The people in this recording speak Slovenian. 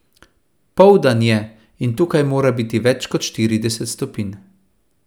Poldan je, in tukaj mora biti več kot štirideset stopinj.